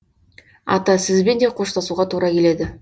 ата сізбен де қоштасуға тура келеді